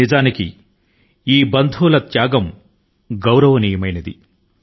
నిజంగా ఈ కుటుంబ సభ్యులు ప్రదర్శించే త్యాగం చాలా గౌరవప్రదమైంది